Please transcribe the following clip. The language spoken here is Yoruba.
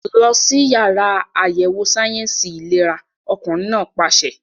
Lọ sí yàrá àyẹ̀wò sáyẹ̀nsì ìlera! Ọkùnrin náà pàṣẹ.